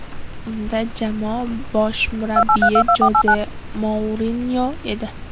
Unda jamoa bosh murabbiyi Joze Mourinyo edi.